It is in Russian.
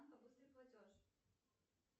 быстрый платеж